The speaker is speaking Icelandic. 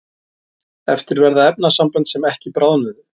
eftir verða efnasambönd sem ekki bráðnuðu